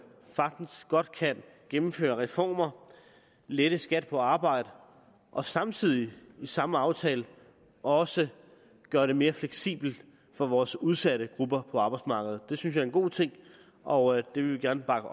sagtens godt kan gennemføre reformer lette skat på arbejde og samtidig i samme aftale også gøre det mere fleksibelt for vores udsatte grupper på arbejdsmarkedet det synes jeg er en god ting og det vil vi gerne bakke